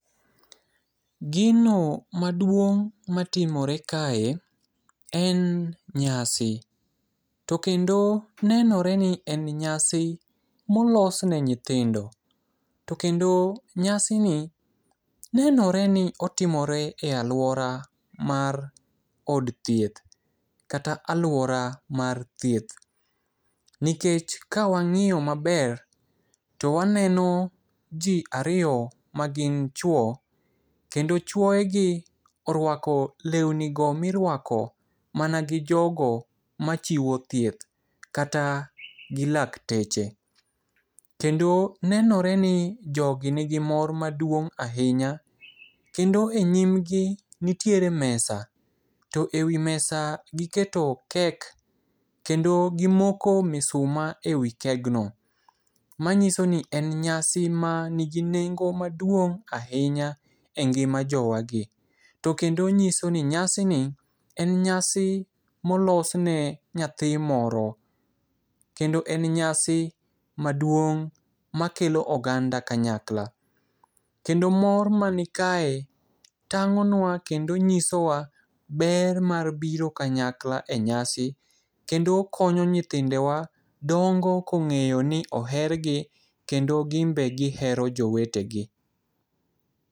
Gino maduong' matimore kae en nyasi. To kendo nenore ni en nyasi molos ne nyithindo. To kendo nyasini nenore ni otimore e aluora mar od thieth, kata aluora mar thieth nikech ka wang'iyo maber to waneno ji ariyo magin chuo kendo chuoyegi oruako lewni go miruako mana gi jogo machiwo thieth. Kata gi lakteche. Kendo nenore ni jogi nigi mor maduong' ahinya kendo e nyimgi nitiere mesa to ewi mesa giketo kek kendo gimoko misuma ewi kegno, manyiso ni en nyasi manigi nengo maduong' ahinya engima jowagi, to kendo nyisoni nyasini en nyasi molos ne nyathi moro to kendo en nyasi maduong' makelo oganda kanyakla. Kendo mor man kae tang'onua kendo nyisowa ber mar biro kanyakla enyasi kendo konyo nyithindewa dongo ka ong'eyo ni ohergi kendo gin be gihero jowetegi